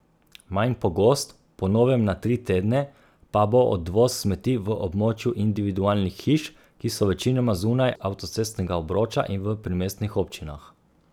Manj pogost, po novem na tri tedne, pa bo odvoz smeti v območju individualnih hiš, ki so večinoma zunaj avtocestnega obroča, in v primestnih občinah.